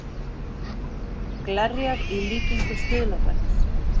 Glerjað í líkingu stuðlabergs